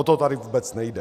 O to tady vůbec nejde.